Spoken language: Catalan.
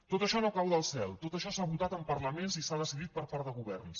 tot això no cau del cel tot això s’ha votat en parlaments i s’ha decidit per part de governs